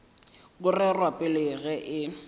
go rerwa pele ge e